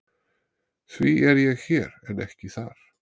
Því er ég hér en ekki þar?